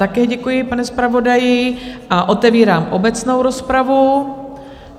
Také děkuji, pane zpravodaji, a otevírám obecnou rozpravu.